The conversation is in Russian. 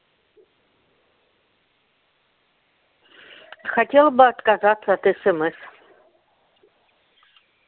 хотела бы отказаться от смс